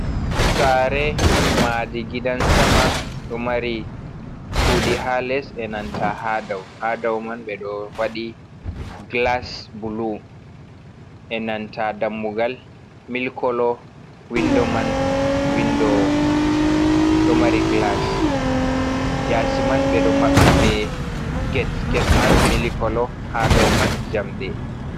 "Saare" maadi gidan sama ɗo mari chuɗii ha les enanta ha dau. Ha dau man ɓeɗo waɗi gilas bulu enanta dammugal milik kolo windo man ɗo mari gilas yaasi man ɓeɗo maɓɓi be get. Get man milik kolo ha dau man jamdi.